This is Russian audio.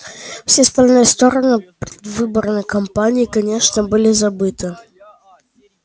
все остальные стороны предвыборной кампании конечно были забыты